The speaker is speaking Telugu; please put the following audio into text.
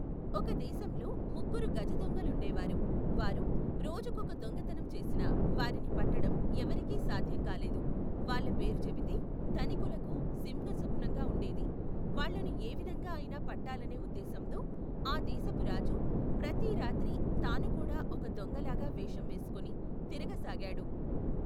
ఒక దేశంలో, ముగ్గురు గజదొంగలుండే వారు, వారు, రోజుకొక దొంగతనం చేసినా, వారిని పట్టడం, ఎవరికీ సాధ్యం కాలేదు, వాళ్ళ పేరు చెబితే, ధనికులకు, సింహస్వప్నంగా ఉండేది, వాళ్లను ఏవిధంగా ఐనా పట్టాలనే ఉద్దేశంతో, ఆ దేశపు రాజు, ప్రతి రాత్రి, తానుకూడా ఒక దొంగలాగ వేషం వేసుకుని, తిరగసాగాడు.